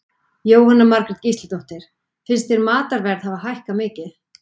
Jóhanna Margrét Gísladóttir: Finnst þér matarverð hafa hækkað mikið?